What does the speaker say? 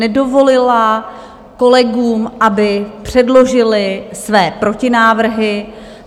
Nedovolila kolegům, aby předložili své protinávrhy.